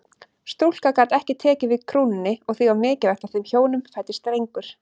Stúlka gat ekki tekið við krúnunni og því var mikilvægt að þeim hjónum fæddist drengur.